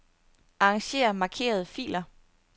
Arranger markerede filer.